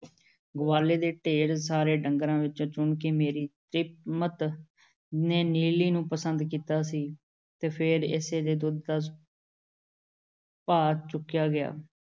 ਗਵਾਲੇ ਦੇ ਢੇਰ ਸਾਰੇ ਢੰਗਰਾਂ ਵਿੱਚੋਂ ਚੁਣ ਕੇ ਮੇਰੀ ਤ੍ਰੀਮੱਤ ਨੇ ਨੀਲੀ ਨੂੰ ਪਸੰਦ ਕੀਤਾ ਸੀ ਅਤੇ ਫੇਰ ਇਸੇ ਦੇ ਦੁੱਧ ਦਾ ਭਾਅ ਚੁਕਾਇਆਂ ਗਿਆ।